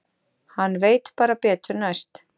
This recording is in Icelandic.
Hann veit bara betur næst.